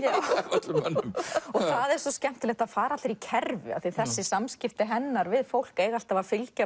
öllum mönnum það er svo skemmtilegt að það fara allir í kerfi af því þessi samskipti hennar við fólk eiga alltaf að fylgja